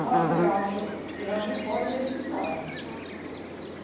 Mas eu acho, eu acho foi necessário.